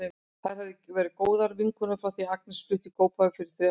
Þær hafa verið góðar vinkonur frá því að Agnes fluttist í Kópavog fyrir þrem árum.